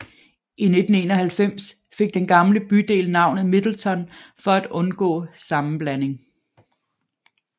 I 1991 fik den gamle bydel navnet Middleton for at undgå sammenblanding